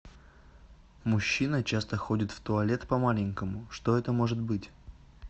мужчина часто ходит в туалет по маленькому что это может быть